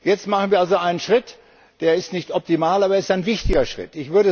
Jetzt machen wir also einen Schritt, der nicht optimal ist, aber er ist ein wichtiger Schritt.